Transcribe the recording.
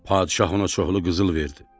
Padşah ona çoxlu qızıl verdi.